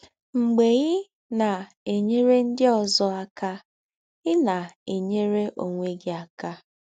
Mgbe ị na - enyere ndị ọzọ aka, ị na - enyere ọnwe gị aka.